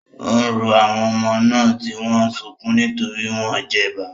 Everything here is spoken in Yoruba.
Ó ń rọ àwọn ọmọ náà, tí wọ́n ń sunkún nítorí wọ́n jẹgba.